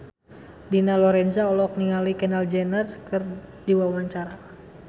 Dina Lorenza olohok ningali Kendall Jenner keur diwawancara